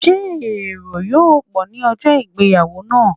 Ṣé èrò yó pọ̀ ní ìgbéyàwó náà?